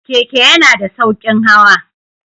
Keke yana da sauƙin hawa.